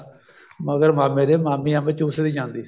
ਮਗਰ ਮਾਮੇ ਦੇ ਮਾਮੀ ਅੰਬ ਚੂਸਦੀ ਜਾਂਦੀ